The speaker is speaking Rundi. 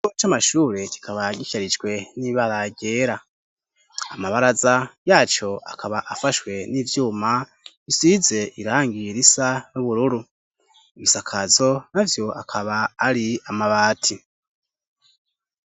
Ikigo c'amashure kikaba gisharijwe n'ibara ryera, amabaraza yaco akaba afashwe n'ivyuma bisize irangi risa n'ubururu, ibisakazo navyo akaba ari amabati.